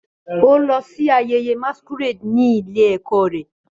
Ó lọ sí ayẹyẹ masquerade ní ilé-ẹ̀kọ́ rẹ̀.